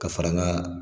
Ka fara an ka